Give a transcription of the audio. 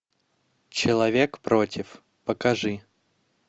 человек против покажи